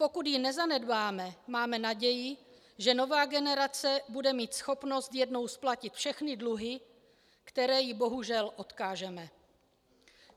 Pokud ji nezanedbáme, máme naději, že nová generace bude mít schopnost jednou splatit všechny dluhy, které jí bohužel odkážeme.